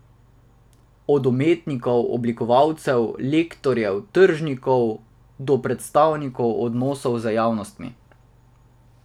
Od umetnikov, oblikovalcev, lektorjev, tržnikov, do predstavnikov odnosov z javnostmi.